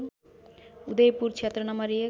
उदयपुर क्षेत्र नं १